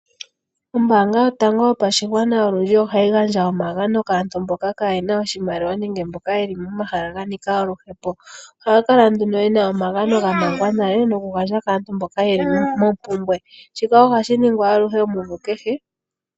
Ombaanga yotango yopashigwana olundji ohayi gandja omagano kaantu mboka kaa ye na iimaliwa nenge kaakwanaluhepo. Oha ga kala nduno geli muushako wamangwa. Shika ohashi ningwa kehe omvula.